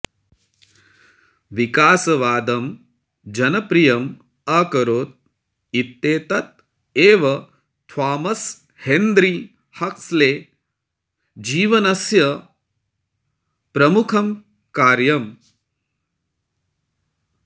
विकासवादं जनप्रियम् अकरोत् इत्येतत् एव थामस् हेन्रि हक्स्लेः जीवनस्य प्रमुखं कार्यम्